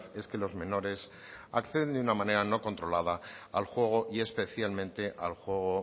es que los menores acceden de una manera no controlada al juego y especialmente al juego